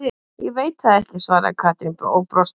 Ég veit það ekki svaraði Katrín og brosti.